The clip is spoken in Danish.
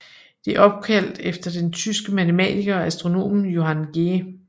Det er opkaldt efter den tyske matematiker og astronom Johann G